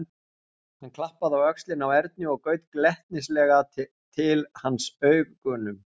Hann klappaði á öxlina á Erni og gaut glettnislega til hans augunum.